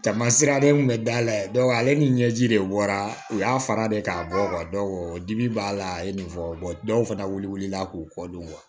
Jama sira de kun bɛ dala ye ale ni ɲɛji de wara u y'a fara de k'a bɔ dibi b'a la a ye nin fɔ dɔw fana wulila k'u kɔ don